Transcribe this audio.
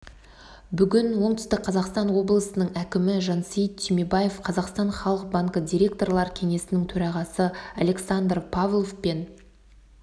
бүгін оңтүстік қазақстан облысының әкімі жансейіт түймебаев қазақстан халық банкі директорлар кеңесінің төрағасы александр павлов пен